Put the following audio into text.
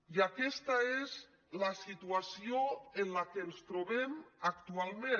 i aquesta és la situació en què ens trobem actualment